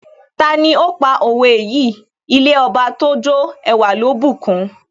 Tani ó pa òwe yìí " ilé Ọba tójó ẹwà ló bùkun?